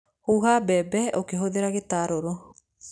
Huha mbembe ũkĩhũthĩra gĩtarũrũ.